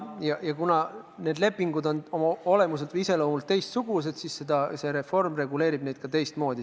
Kuna need lepingud on olemuselt või iseloomult teistsugused, siis ka reform reguleerib neid teistmoodi.